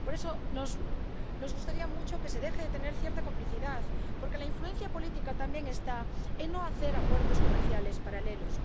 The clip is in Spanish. Por eso, nos gustaría mucho que se deje de tener cierta complicidad, porque la influencia política también está en no hacer acuerdos comerciales paralelos.